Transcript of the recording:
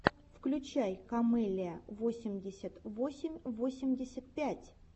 включай камеллиа восемьдесят восемь восемьдесят пять